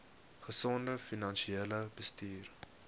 gesonde finansiële bestuur